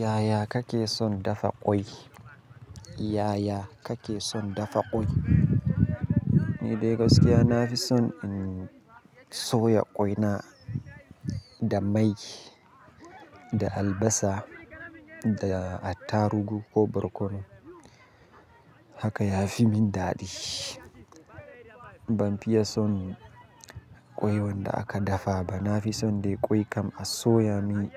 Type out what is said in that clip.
Yaya kake son dafa ƙwai? Yaya kake son dafa ƙwai? Ni dai gaskiya na fi son in soya ƙwaina da mai, da albasa da attarugu ko barkono. Haka ya fi min daɗi. Ban fiye son ƙwai wanda aka dafa ba. Na fi son dai ƙwai kam a soya min.